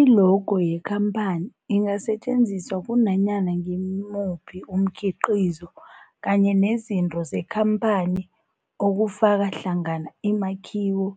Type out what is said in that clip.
I-logo yekhamphani ingasetjenziswa kunanyana ngimuphi umkhiqizo kanye nezinto zekhamphani okufaka hlangana imakhiwo,